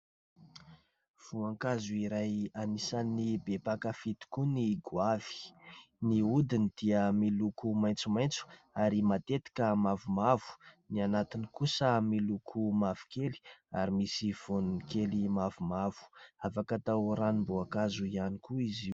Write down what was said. Voankazo iray anisan'ny be mpankafia tokoa ny goavy, ny hodiny dia miloko maitsomaitso ary matetika mavomavo, ny anatiny kosa miloko mavokely ary misy voany kely mavomavo afaka atao ranom-boankazo ihany koa izy.